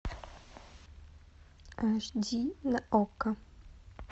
аш ди на окко